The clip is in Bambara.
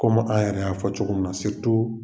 Komi a yɛrɛ y'a fɔ cogo min na